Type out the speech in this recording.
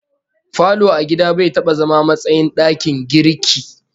Falo a gida bai taba zama matsayin dakin girki